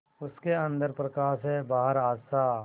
उसके अंदर प्रकाश है बाहर आशा